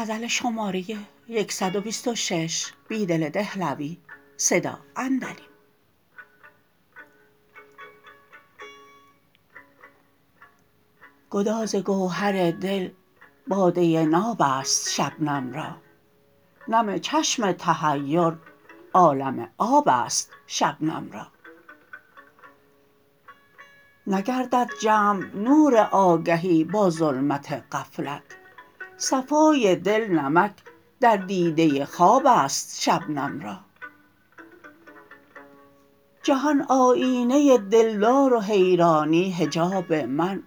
گدازگوهر دل باده ناب است شبنم را نم چشم تحیرعالم آب است شبنم را نگردد جمع نوراگهی با ظلمت غفلت صفای دل نمک در دیده خواب است شبنم را جهان آیینه دلدار و حیرانی حجاب من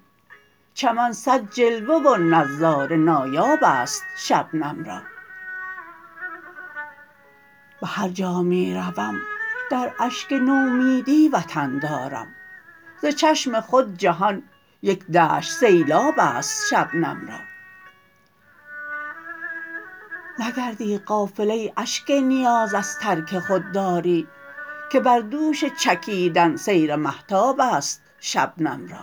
چمن صد جلوه و نظاره نایاب است شبنم را به هرجا می روم در اشک نومیدی وطن دارم ز چشم خود جهان یک دشت سیلاب است شبنم را نگردی غافل ای اشک نیاز از ترک خودداری که بر دوش چکیدن سیر مهتاب است شبنم را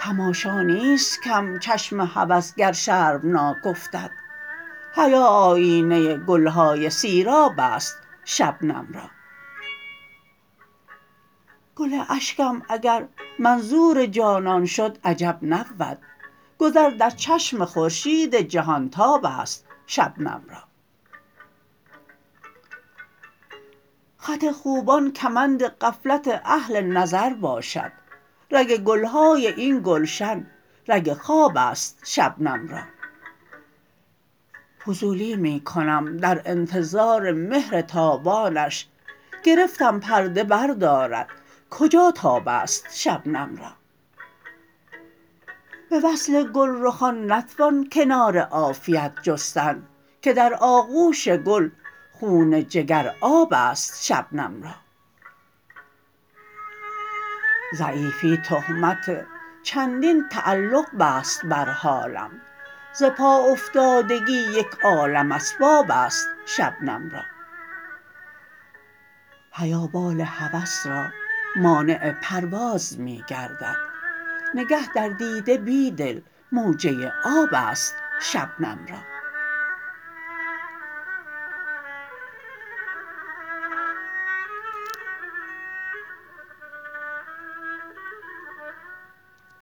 تماشا نیست کم چشم هوس گر شرمناک افتد حیا آیینه گلهای سیراب است شبنم را گل اشکم اگر منظور جانان شد عجب نبود گذر در چشم خورشید جهانتاب است شبنم را خط خوبان کمند غفلت اهل نظر باشد رگ گلهای این گلشن رگ خواب است شبنم را فضولی می کنم در انتظار مهر تابانش گرفتم پرده بردارد کجا تاب است شبنم را به وصل گلرخان نتوان کنار عافیت جستن که درآغوش گل خون جگرآب است شبنم را ضعیفی تهمت چندین تعلق بست بر حالم ز پا افتادگی یک عالم اسباب است شبنم را حیا بال هوس را مانع پرواز می گردد نگه در دیده بیدل موجه آب است شبنم را